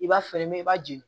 I b'a feere mɛ i b'a jeni